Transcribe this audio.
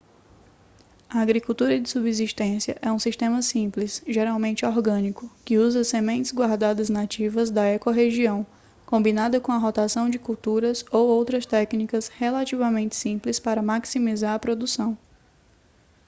a agricultura de subsistência é um sistema simples geralmente orgânico que usa sementes guardadas nativas da ecorregião combinada com a rotação de culturas ou outras técnicas relativamente simples para maximizar a produção